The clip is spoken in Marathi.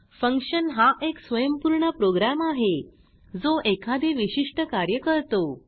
फंक्शन हा एक स्वयंपूर्ण प्रोग्राम आहे जो एखादे विशिष्ट कार्य करतो